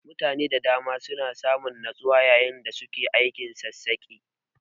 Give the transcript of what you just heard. Mutane da dama suna samun natsuwa yayin da suke aikin sassaƙe.